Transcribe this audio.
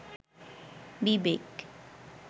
বিবেক